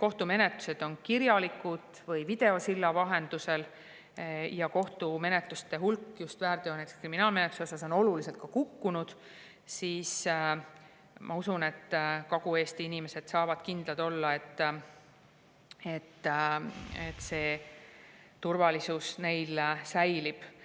kohtumenetlused on kirjalikud või videosilla vahendusel ja kohtumenetluste hulk just väärteo- ja näiteks kriminaalmenetluse puhul on oluliselt kukkunud, ma usun, et Kagu-Eesti inimesed saavad kindlad olla, et nende turvalisus säilib.